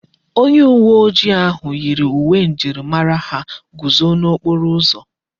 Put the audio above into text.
Onye uwe ojii ahụ yi uwe njirimara ha guzo n'okporo ụzọ.